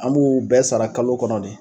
An b'u bɛɛ sara kalo kɔnɔ de.